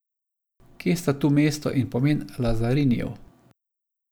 Kje sta tu mesto in pomen Lazarinijev?